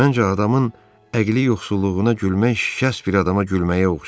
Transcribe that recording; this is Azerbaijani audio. Məncə adamın əqli yoxsulluğuna gülmək şikəst bir adama gülməyə oxşayır.